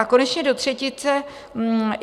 A konečně do třetice.